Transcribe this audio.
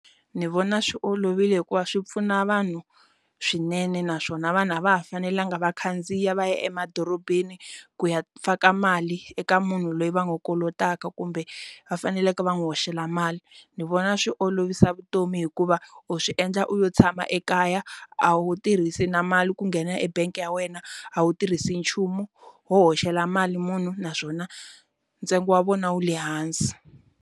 Ndzi vona swi olovile hikuva swi pfuna vanhu swinene naswona vanhu a va ha fanelanga va khandziya va ya emadorobeni ku ya faka mali eka munhu loyi va n'wi kolotaka kumbe va faneleke va n'wi hoxela mali ni vona swi olovisa vutomi hikuva u swi endla u yo tshama ekaya a wu tirhisi na mali ku nghena ebank ya wena a wu tirhisi nchumu wo hoxela mali munhu naswona ntsengo wa vona wu le hansi.